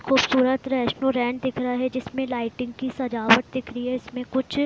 खुबसूरत रेस्टोरेंट दिख रहा है जिसमे लाइटिंग की सजावट दिख रही है इसमें कुछ--